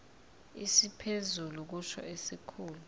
esiphezulu kusho isikhulu